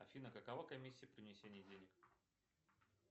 афина какова комиссия при внесении денег